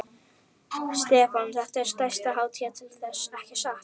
Stefán: Þetta er stærsta hátíðin til þessa, ekki satt?